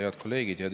Head kolleegid!